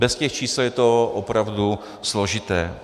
Bez těch čísel je to opravdu složité.